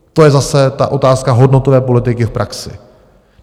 To je zase ta otázka hodnotové politiky v praxi.